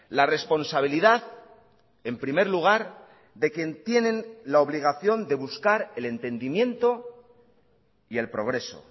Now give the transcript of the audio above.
la responsabilidad en primer lugar de quien tienen la obligación de buscar el entendimiento y el progreso